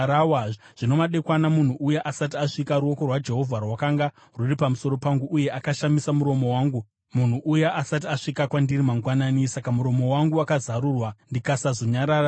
Zvino madekwana munhu uya asati asvika, ruoko rwaJehovha rwakanga rwuri pamusoro pangu, uye akashamisa muromo wangu munhu uya asati asvika kwandiri mangwanani. Saka muromo wangu wakazarurwa ndikasazonyararazve.